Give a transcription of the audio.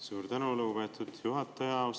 Suur tänu, lugupeetud juhataja!